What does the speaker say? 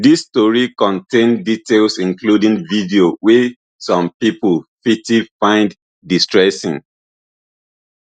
dis story contain details including video wey some pipo fity find distressing